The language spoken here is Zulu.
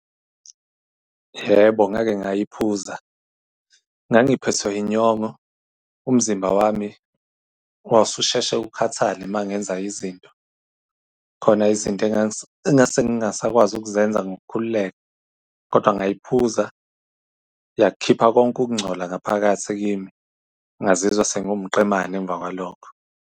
Yebo, ngake ngayiphuza. Ngangiphethwe inyongo, umzimba wami wawu ususheshe ukhathale uma ngenza izinto. Khona izinto engase ngingasakwazi ukuzenza ngokukhululeka, kodwa ngayiphuza yakhipha konke ukungcola ngaphakathi kimi, ngazizwa sengiwumqemane emva kwalokho.